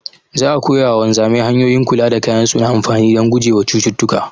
Za'a koya wa wanzamai hanyoyin kula da kayan su na amfani dan gujewa wa cututtuka